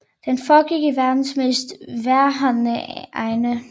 Den foregik i verdens mest vejrhårde egne